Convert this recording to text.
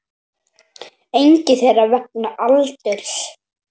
Engin þeirra vegna aldurs.